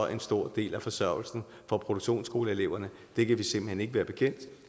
en stor del af forsørgelsen fra produktionsskoleeleverne det kan vi simpelt hen ikke være bekendt